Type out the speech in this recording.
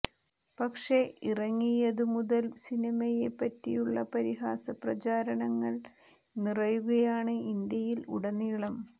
പക്ഷെ ഇറങ്ങിയതു മുതൽ സിനിമയെ പറ്റിയുള്ള പരിഹാസ പ്രചാരണങ്ങൾ നിറയുകയാണ് ഇന്ത്യയിൽ ഉടനീളം